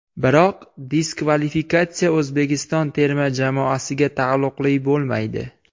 Biroq diskvalifikatsiya O‘zbekiston terma jamoasiga taalluqli bo‘lmaydi.